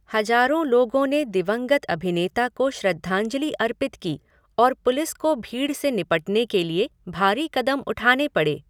हजारों लोगों ने दिवंगत अभिनेता को श्रद्धांजलि अर्पित की और पुलिस को भीड़ से निपटने के लिए भारी कदम उठाने पड़े।